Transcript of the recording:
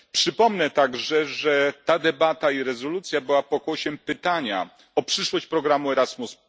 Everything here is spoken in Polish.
Przypomnę także, że ta debata i ta rezolucja są pokłosiem pytania o przyszłość programu Erasmus.